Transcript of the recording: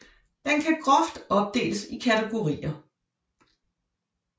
Den kan groft opdeles i kategorier